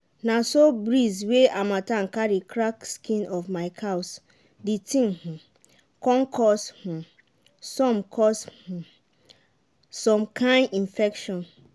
na so breeze wey harmattan carry crack skin of my cows the thing um con cause um some cause um some kain infection.